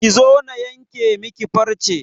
Ki zo na yanke miki farce!